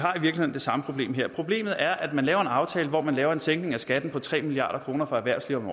det samme problem her problemet er at man laver en aftale hvor man laver en sænkning af skatten på tre milliard kroner for erhvervslivet